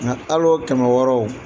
Nka hali o kɛmɛ wɔɔrɔw.